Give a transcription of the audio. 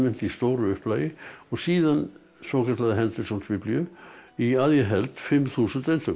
í stóru upplagi og síðan svokallaða henderson biblíu í að ég held fimm þúsund eintökum